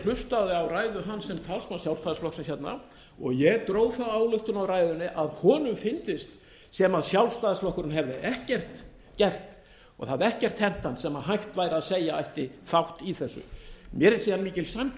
hlustaði á ræðu hans sem talsmanns sjálfstæðisflokksins hérna og ég dró þá ályktun af ræðunni að honum fyndist sem sjálfstæðisflokkurinn hefði ekkert gert og það hefði ekkert hent hann sem hægt væri að segja að ætti þátt í þessu mér er síðan mikil sæmd